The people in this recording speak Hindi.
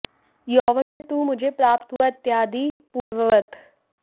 यौवन में तू मुझे प्राप्त हुआ इत्यादि पूर्ववत्